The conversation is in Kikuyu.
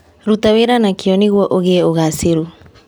Ruta wĩra na kĩo nĩguo ũgĩe ũgacĩĩru.